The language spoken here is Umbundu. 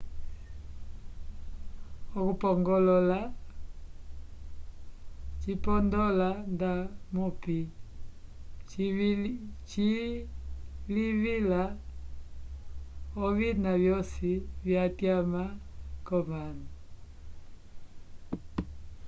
okupongolola cipondola ndamupi cilivila ovina vyoci vyatyama comanu